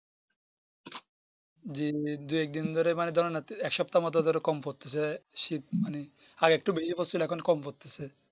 জি জি দু এক দিন ধরে এক সপ্তাহ ধরে কম পড়তেছে শীত মানে আরেকটু বেশি পড়তেছিল এখন কম পড়তেছে